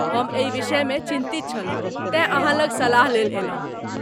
हम एहि विषयमे चिन्तित छलहुँ, तेँ अहाँ लग सलाहलेल अयलहुँ।